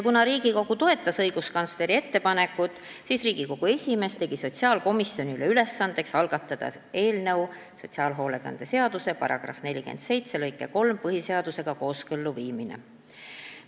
Kuna Riigikogu toetas õiguskantsleri ettepanekut, siis Riigikogu esimees tegi sotsiaalkomisjonile ülesandeks algatada eelnõu sotsiaalhoolekande seaduse § 47 lõike 3 põhiseadusega kooskõlla viimiseks.